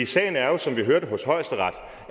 sagen er jo som vi hørte hos højesteret